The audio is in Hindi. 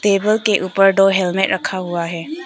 टेबल के ऊपर दो हेलमेट रखा हुआ है।